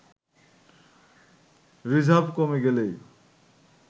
reserve কমে গেলেই